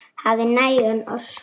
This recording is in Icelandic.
Hafi næga orku.